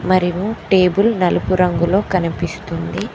మరేమో టేబుల్ నలుపు రంగులో కనిపిస్తుంది.